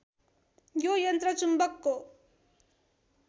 यो यन्त्र चुम्बकको